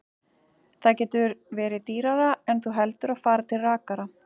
Það getur verið dýrara en þú heldur að fara til rakara.